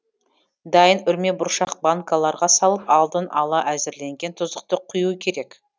дайын үрмебұршақ банкаларға салып алдын ала әзірленген тұздықты құю керек